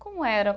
Como era?